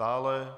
Dále